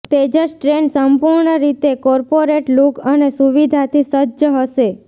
Tejas train સંપૂર્ણરીત corporate look અને સુવિધાથી સજ્જ હશે